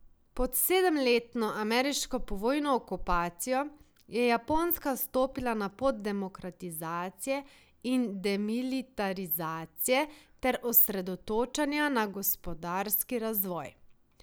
Pod sedemletno ameriško povojno okupacijo je Japonska stopila na pot demokratizacije in demilitarizacije ter osredotočanja na gospodarski razvoj.